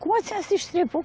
Como a senhora se estrepou?